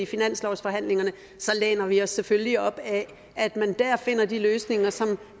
finanslovsforhandlingerne så læner vi os selvfølgelig op ad at man dér finder de løsninger som